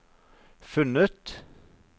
funnet